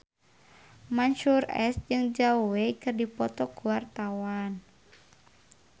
Mansyur S jeung Zhao Wei keur dipoto ku wartawan